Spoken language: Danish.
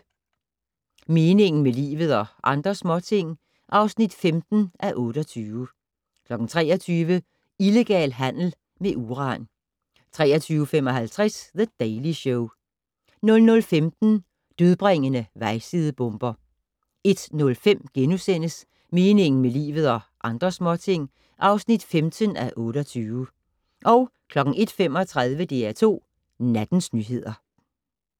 22:00: Meningen med livet - og andre småting (15:28) 23:00: Illegal handel med uran 23:55: The Daily Show 00:15: Dødbringende vejsidebomber 01:05: Meningen med livet - og andre småting (15:28)* 01:35: DR2 Nattens nyheder